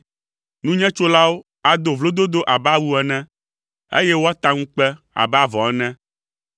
Nunyetsolawo ado vlododo abe awu ene, eye wòata ŋukpe abe avɔ ene.